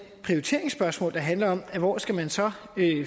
prioriteringsspørgsmål der handler om at hvor skal man så